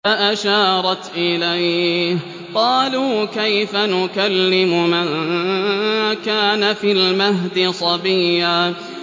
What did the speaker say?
فَأَشَارَتْ إِلَيْهِ ۖ قَالُوا كَيْفَ نُكَلِّمُ مَن كَانَ فِي الْمَهْدِ صَبِيًّا